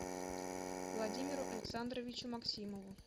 владимиру александровичу максимову